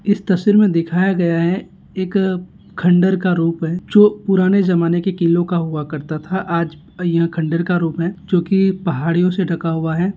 इस तस्वीर मे दिखाया गया हैं एक खंडर का रूप हैं जो पुराने जमाने की किलो हुआ करता था आज ये खंडर का रूप हैं जो की पहाड़ियो से ढका हुआ हैं।